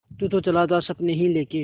तू तो चला था सपने ही लेके